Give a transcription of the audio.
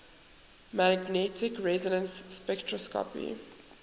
magnetic resonance spectroscopy